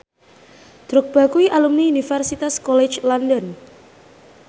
Drogba kuwi alumni Universitas College London